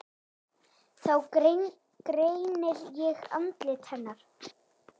Þá greini ég andlit hennar.